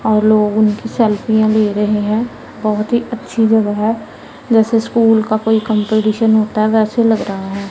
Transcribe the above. और लोगों उनकी सेल्फियां ले रहे हैं बहोत ही अच्छी जगह है जैसे स्कूल का कोई कंपटीशन होता है वैसे लग रहा है।